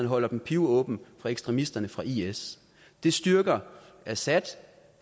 holder den pivåben for ekstremisterne fra is det styrker assad